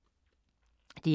DR2